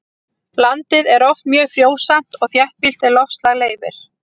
Landið er oft mjög frjósamt og þéttbýlt ef loftslag leyfir.